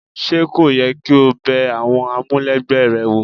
Ṣé kò yẹ kí o bẹ àwọn amulegbe rẹ wò?